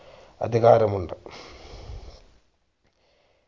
അധികാരമുണ്ട്